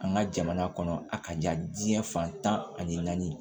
An ka jamana kɔnɔ a ka diya diɲɛ fan tan ani naani